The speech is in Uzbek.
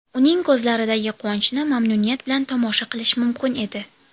Uning ko‘zlaridagi quvonchni mamnuniyat bilan tomosha qilish mumkin edi.